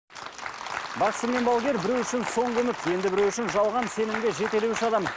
бақсы мен балгер біреу үшін соңғы үміт енді біреу үшін жалған сенімді жетелеуші адам